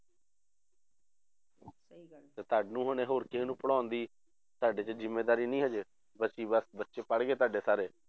ਤੇ ਤੁਹਾਨੂੰ ਹੁਣ ਹੋਰ ਕਿਸੇ ਨੂੰ ਪੜ੍ਹਾਉਣ ਦੀ ਤੁਹਾਡੇ ਤੇ ਜ਼ਿੰਮੇਦਾਰੀ ਨਹੀਂ ਹਜੇ ਬੱਚੇ ਬਸ ਬੱਚੇ ਪੜ੍ਹ ਗਏ ਤੁਹਾਡੇ ਸਾਰੇ